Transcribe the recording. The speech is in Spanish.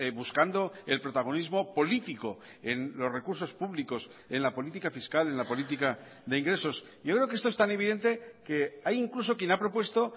buscando el protagonismo político en los recursos públicos en la política fiscal en la política de ingresos yo creo que esto es tan evidente que hay incluso quien ha propuesto